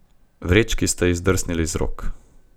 Vrečki sta ji zdrsnili iz rok.